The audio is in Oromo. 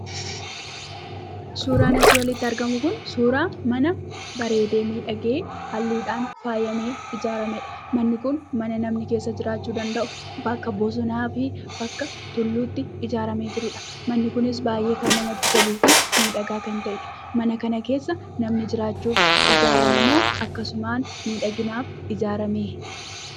Suuraan asii olitti argamu kun suuraa mana bareedee miidhagee halluudhaan faayamee ijaaramedha. Manni kun kan namni keessa jiraachuu danda'u bakka bosonaa fi bakka tulluutti ijaaramee jirudha. Manni kunis kan baay'ee namatti toluu fi miidhagaa kan ta'edha. Mana kana keessa namni jiraachuuf ijaarame moo akkasumaan miidhaginaaf ijaarame?